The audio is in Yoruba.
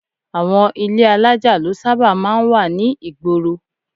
Àwọn ilé alájà ló sábà máa ń wà ní ìgboro